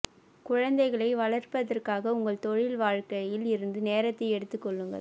குழந்தைகளை வளர்ப்பதற்காக உங்கள் தொழில் வாழ்க்கையில் இருந்து நேரத்தை எடுத்துக் கொள்ளுங்கள்